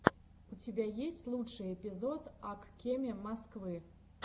у тебя есть лучший эпизод ак кеме москвы